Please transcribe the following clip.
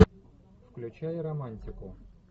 включай романтику